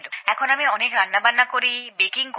এখন আমি অনেক রান্নাবান্না করি বেকিং করি